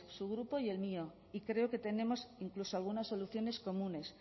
su grupo y el mío y creo que tenemos incluso algunas soluciones comunes